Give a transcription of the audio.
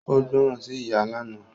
Ó gbọ̀rán sí ìyá lánàá